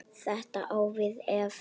Þetta á við ef